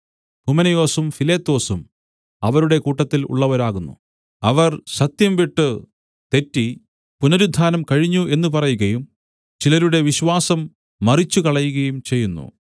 ഹുമനയൊസും ഫിലേത്തൊസും അവരുടെ കൂട്ടത്തിൽ ഉള്ളവരാകുന്നു അവർ സത്യം വിട്ടു തെറ്റി പുനരുത്ഥാനം കഴിഞ്ഞു എന്നു പറയുകയും ചിലരുടെ വിശ്വാസം മറിച്ചുകളയുകയും ചെയ്യുന്നു